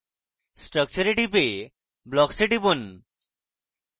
structure এ টিপে blocks এ টিপুন